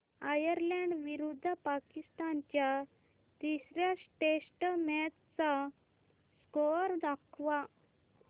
Ireland विरुद्ध पाकिस्तान च्या तिसर्या टेस्ट मॅच चा स्कोअर दाखवा